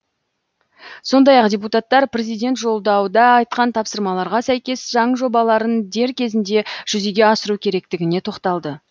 сондай ақ депутаттар президент жолдауда айтқан тапсырмаларға сәйкес заң жобаларын дер кезінде жүзеге асыру керектігіне тоқталды